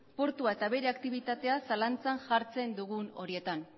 portua eta bere aktibitatea zalantzan jartzen dugun horietan